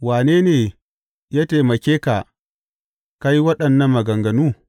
Wane ne ya taimake ka ka yi waɗannan maganganu?